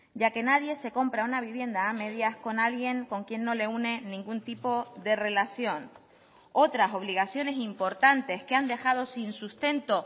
ya que nadie se compra una vivienda a medias con alguien con quien no le une ningún tipo de relación otras obligaciones importantes que han dejado sin sustento